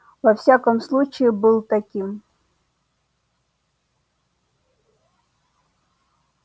во всяком случае был таким